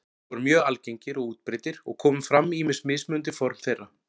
Þeir voru mjög algengir og útbreiddir og komu fram ýmis mismunandi form þeirra.